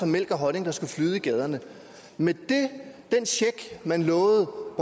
mælk og honning der skulle flyde i gaderne men den check man lovede